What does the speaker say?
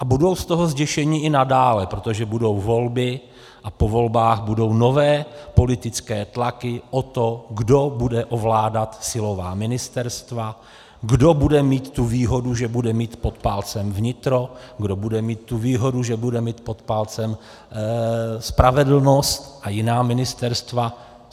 A budou z toho zděšeni i nadále, protože budou volby a po volbách budou nové politické tlaky o to, kdo bude ovládat silová ministerstva, kdo bude mít tu výhodu, že bude mít pod palcem vnitro, kdo bude mít tu výhodu, že bude mít pod palcem spravedlnost a jiná ministerstva.